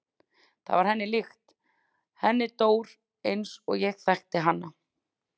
Það var henni líkt, henni Dór eins og ég þekkti hana.